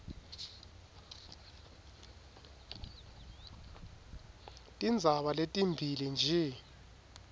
tindzaba letimbili nje